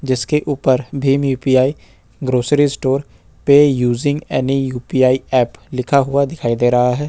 जिसके ऊपर Bhim U P I grocery store pay using any U P I app लिखा हुआ दिखाई दे रहा है।